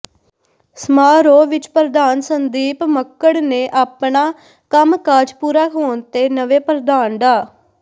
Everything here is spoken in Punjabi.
ਸਮਾਰੋਹ ਵਿਚ ਪ੍ਰਧਾਨ ਸੰਦੀਪ ਮੱਕੜ ਨੇ ਆਪਣਾ ਕੰਮਕਾਜ ਪੂਰਾ ਹੋਣ ਤੇ ਨਵੇਂ ਪ੍ਰਧਾਨ ਡਾ